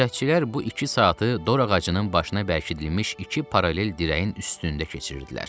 Gözətçilər bu iki saatı dorağacının başında bərkidilmiş iki paralel dirəyin üstündə keçirdilər.